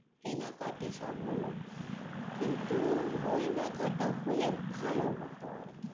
কেনা কাটি সব হল কিন্তু বই দেখাটা হলে ভালো হত আর কি, "